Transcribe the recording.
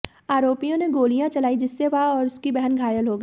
आरोपी ने गोलियां चलाईं जिससे वह और उसकी बहन घायल हो गए